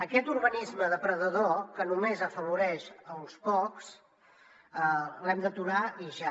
aquest urbanisme depredador que només afavoreix uns pocs l’hem d’aturar i ja